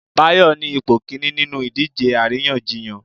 Bayo ni ipo kinní ninú idije aríyànjiyàn